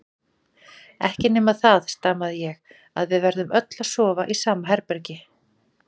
Ekki nema það, stamaði ég, að við verðum öll að sofa í sama herbergi.